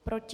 Proti?